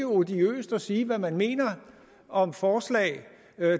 odiøst at sige hvad man mener om forslag